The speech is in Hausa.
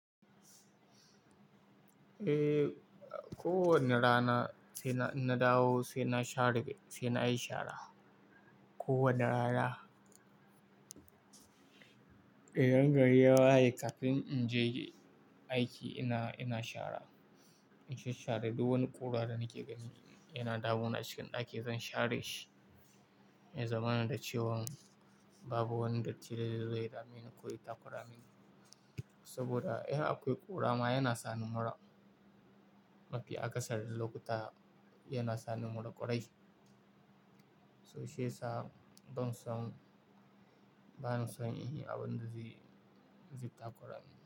Eh, kowane rana sai na, na dawo sai na share, sai na yi shara kowane rana. Idan gari ya waye kafin in je aiki ina, ina shara. In sha share duk wani ƙura da nake gani yana dawu na cikin ɗaki zan share shi. Me zamanin da cewan babu wani datti da zai dame ni ko ya takura mini. Saboda in akwai ƙurama yana sani mura. Mafi akasari lokuta yana sani mura ƙwarai. So shi yasa ban son, ba na son in yi abin da zai, zai takora ni.